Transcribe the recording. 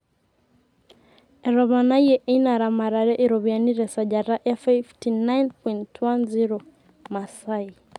etoponayie eina ramatere iropiyiani te sajata e 59.10,Maasai